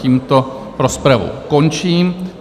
Tímto rozpravu končím.